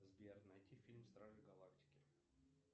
сбер найти фильм стражи галактики